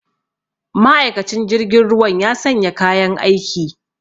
Ma'aikacin jirgin ruwan ya sanya kayan aiki